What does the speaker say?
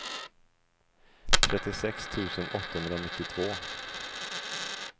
trettiosex tusen åttahundranittiotvå